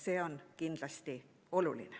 See on kindlasti oluline.